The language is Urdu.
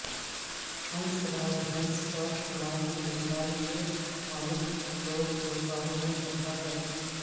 ہنس راج ہنس کا شمار ہندوستان کے معروف لوک گلوکاروں میں ہوتا ہے